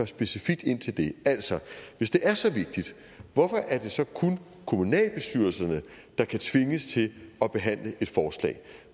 specifikt ind til det altså hvis det er så vigtigt hvorfor er det så kun kommunalbestyrelserne der kan tvinges til at behandle et forslag